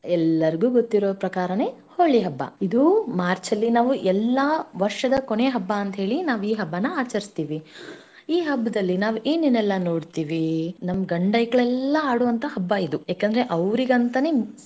ಎಲ್ಲರಿಗೂ ಗೊತ್ತಿರುವ ಪ್ರಕಾರನೇ ಹೋಳಿ ಹಬ್ಬ ಇದು March ಅಲ್ಲಿ ನಾವು ಎಲ್ಲಾ ವರ್ಷದ ಕೊನೆಯ ಹಬ್ಬಾ ಅಂತೇಳಿ ನಾವ ಈ ಹಬ್ಬಾನಾ ಆಚರಿಸ್ತೀವಿ, ಈ ಹಬ್ಬದಲ್ಲಿ ನಾವ ಏನೇನೆಲ್ಲಾ ನೋಡ್ತಿವಿ ನಮ್ಮ ಗಂಡ ಐಕ್ಳು ಎಲ್ಲಾ ಆಡುವಂತ ಹಬ್ಬ ಇದು ಏಕೆಂದರೆ ಅವರಿಗೆ ಅಂತಾನೆ.